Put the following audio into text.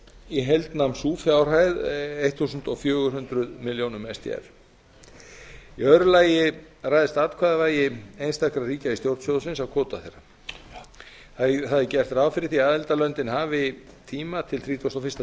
í heild nam sú fjárhæð fjórtán hundruð milljónir sdr í öðru lagi ræðst atkvæðavægi einstakra ríkja í stjórn sjóðsins af kvóta þeirra það er gert ráð fyrir því að aðildarlöndin hafi tíma til þrítugasta og fyrsta